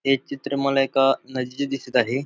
हे चित्र मला एका नदीचे दिसत आहे.